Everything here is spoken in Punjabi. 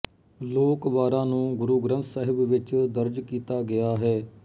ਲੋਕ ਵਾਰਾਂ ਨੂੰ ਗੁਰੂ ਗ੍ਰੰਥ ਸਾਹਿਬ ਵਿੱਚ ਵੀ ਦਰਜ ਕੀਤਾ ਗਿਆ ਹੈ